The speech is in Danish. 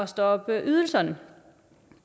stoppe ydelserne